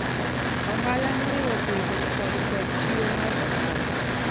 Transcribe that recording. Ohala moriwo pinje kod kod chiro mar ohala